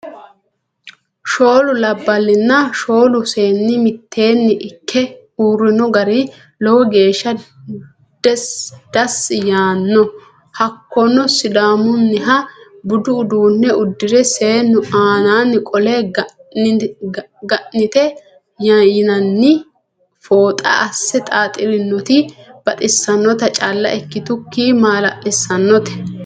shoolu labalinna shoolu seeni miteenni ike uurino gari lowo geesha dasi yaano hakono sidaamuniha budu uduune udirre seenu aannani qole gaanete yinanni fooxa ase xaxirinoti baxisanota cala ikituki mala'lisanote.